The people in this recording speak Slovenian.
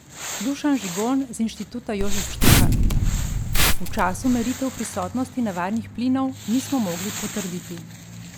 Dušan Žigon z inštituta Jožef Štefan: "V času meritev prisotnosti nevarnih plinov nismo mogli potrditi".